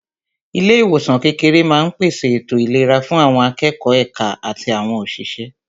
Ilé ìwòsàn kékeré máa ń pèsè ètò ìlera fún àwọn akẹ́kọ̀ọ́, èka àti àwọn òṣìṣẹ́